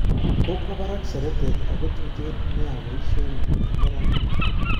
Kokwo barak seretet ako tuten nia boisionik eng neranik